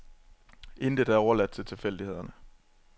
Intet er overladt til tilfældighederne.